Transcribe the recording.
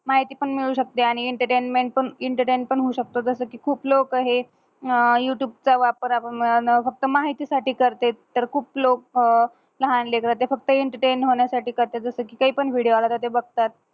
माहिती पण मिळू शकते आणि एंटरटेनमेंट पण एंटरटेन होऊ शकते. जस कि खूप लोक हे युटूबच वापर फक्त माहिती साटी करते तर खूप लोक ते फक्त एंटरटेनमेंट होण्या साटी करत्यात. ते पण विडियो वगेरे बगत्यात.